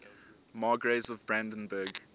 margraves of brandenburg